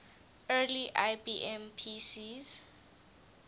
early ibm pcs